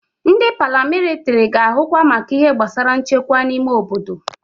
Ndị paramilitiri ga-ahụkwa maka ihe gbasara nchekwa n'ime obodo.